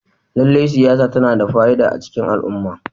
Lallai siyasa tana da fa'ida a cikin al'umma.